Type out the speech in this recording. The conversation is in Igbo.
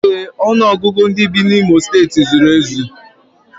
Ee, ọnụọgụgụ ndị bi n'Imo steeti zuru ezu